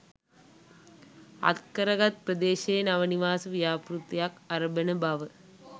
අත් කරගත් ප්‍රදේශයේ නව නිවාස ව්‍යාපෘතියක් අරඹන බව